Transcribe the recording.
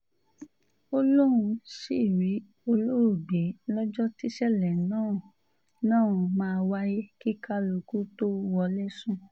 ó lóun sì rí olóògbé lọ́jọ́ tíṣẹ̀lẹ̀ náà náà máa wáyé kí kálukú tóo wọlé sùn